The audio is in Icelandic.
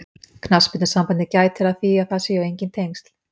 Knattspyrnusambandið gætir að því að það séu enginn tengsl.